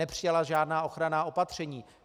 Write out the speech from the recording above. Nepřijala žádná ochranná opatření.